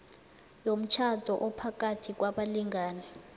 yomtjhado ophakathi kwabalingani